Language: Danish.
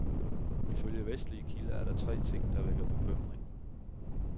Ifølge vestlige kilder er der tre ting, der vækker bekymring.